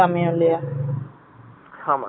ஆம நம்ம போரதுல தான் இருக்கு